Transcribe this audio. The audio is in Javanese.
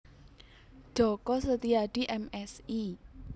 Djoko Setiadi M Si